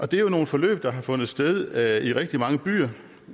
det er jo nogle forløb der har fundet sted i rigtig mange byer